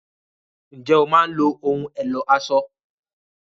Ǹjẹ́ o máa ń lo ohùn ẹ̀lò aṣọ?